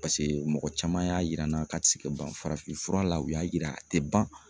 paseke mɔgɔ caman y'a yir'an na k'a ti se ka ban farafin fura la u y'a yira a tɛ ban